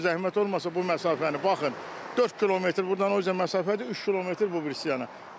Bu məsafəni baxın, 4 kilometr burdan o üzə məsafədir, 3 kilometr bu birisi yəni.